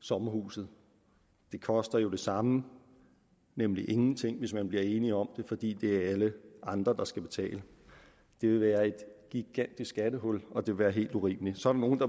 sommerhuset det koster jo det samme nemlig ingenting hvis man bliver enige om det fordi det er alle andre der skal betale det vil være et gigantisk skattehul og det vil være helt urimeligt så er der nogle der